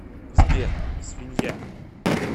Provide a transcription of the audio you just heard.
сбер свинья